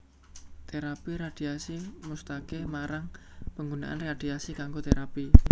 Terapi radhiasi musataké marang panggunaan radhiasi kanggo terapi